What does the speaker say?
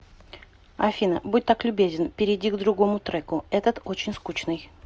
афина будь так любезен перейди к другому треку этот очень скучный